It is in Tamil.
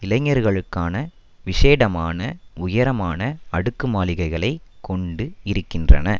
இளைஞர்களுக்கான விஷேடமான உயரமான அடுக்கு மாளிகைகளை கொண்டு இருக்கின்றன